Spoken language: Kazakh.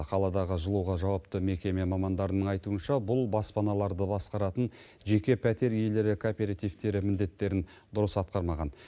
қаладағы жылуға жауапты мекеме мамандарының айтуыша бұл баспаналарды басқаратын жеке пәтер иелері кооперативтері міндеттерін дұрыс атқармаған